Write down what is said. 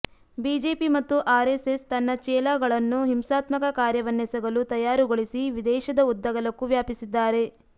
BJP ಮತ್ತು RSS ತನ್ನ ಚೇಲಾಗಳನ್ನು ಹಿಂಸಾತ್ಮಕ ಕಾರ್ಯವನ್ನೆಸಗಲು ತಯಾರುಗೊಳಿಸಿ ದೇಶದ ಉದ್ದಗಲಕ್ಕೂ ವ್ಯಾಪಿಸಿದ್ದಾರೆ